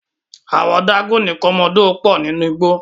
Àwon dágónì komodo pò nínú igbó